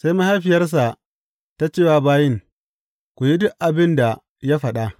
Sai mahaifiyarsa ta ce wa bayin, Ku yi duk abin da ya faɗa.